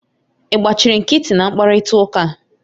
Ị gbachiri nkịtị na mkparịta ụka a